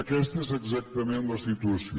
aquesta és exactament la situació